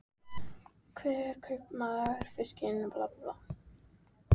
Hver kaupmaður virtist eiga sinn bát og sinn bryggjusporð.